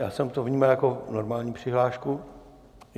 Já jsem to vnímal jako normální přihlášku.